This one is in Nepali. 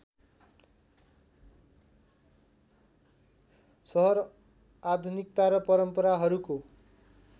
सहर आधुनिकता र परम्पराहरूको